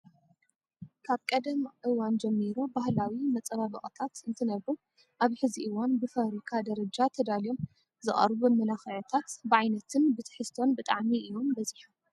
ካብ ቀደም እዋን ጀሚሩ ባህላዊ መፀባበቅታት ንትነብሩ ኣብ ሕዚ እዋን ብፋብሪካ ደረጃ ተዳልዮም ዝቀርቡ መመላክዕታት ብዓይነትን ብትህዝቶን ብጣዕሚ እዮም በዚሖም።